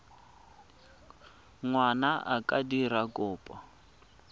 ngwana a ka dira kopo